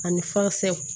Ani